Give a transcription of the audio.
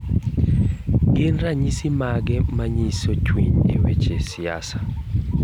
Gin ranyisi mage manyiso chwin e weche siasa?